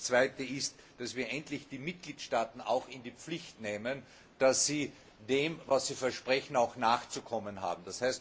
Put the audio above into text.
Zweitens, dass wir endlich die Mitgliedstaaten auch in die Pflicht nehmen, dass sie dem, was sie versprechen, auch nachzukommen haben